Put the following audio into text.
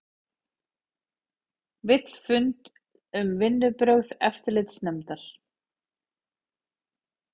Vill fund um vinnubrögð eftirlitsnefndar